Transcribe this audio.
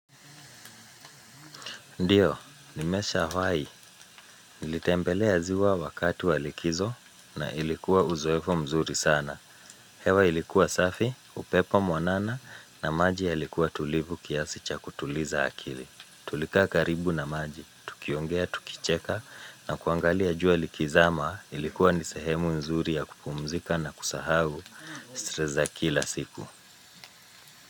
Ndiyo, nimeshawai. Nilitembelea ziwa wakati wa likizo na ilikuwa uzoefu mzuri sana. Hewa ilikuwa safi, upepo mwanana na maji yalikuwa tulivu kiasi cha kutuliza akili. Tulika karibu na maji. Tukiongea, tukicheka na kuangalia jua likizama ilikuwa ni sehemu mzuri ya kupumzika na kusahau Stress za kila siku.